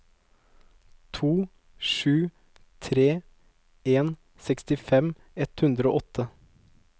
to sju tre en sekstifem ett hundre og åtte